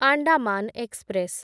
Andaman express